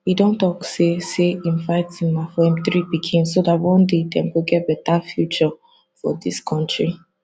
e don tok say say im fighting na for im three pikin so dat one day dem go get bata future for dis kontri